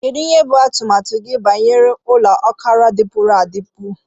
Kedu ihe bụ atụmatụ gị banyere ụlọ ọkara dipuru adipu?